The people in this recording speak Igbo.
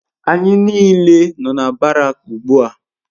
ANYI n'ile no na Barak ugbua